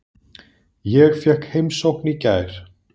Ég fékk heimsókn í gær.